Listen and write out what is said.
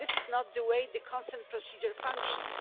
This is not the way the consent procedure functions.